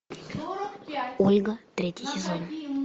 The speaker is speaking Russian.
ольга третий сезон